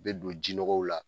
I bɛ don jinɔgɔw la